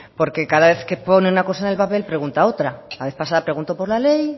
porque cada vez que pone una cosa en el papel pregunta otra la vez pasada preguntó por la ley